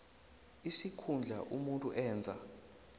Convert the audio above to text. isikhundla umuntu enza